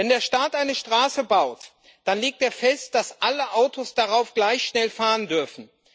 Wenn der Staat eine Straße baut, dann legt er fest, dass alle Autos darauf gleich schnell fahren dürfen.